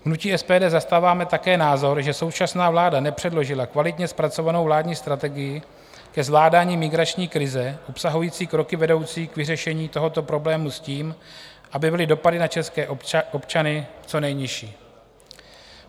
V hnutí SPD zastáváme také názor, že současná vláda nepředložila kvalitně zpracovanou vládní strategii ke zvládání migrační krize obsahující kroky vedoucí k vyřešení tohoto problému s tím, aby byly dopady na české občany co nejnižší.